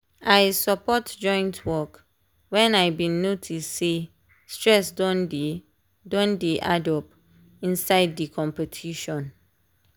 i support joint work when i been notice say stress don dey don dey addup inside the competition.